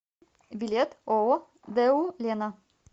билет ооо дэу лена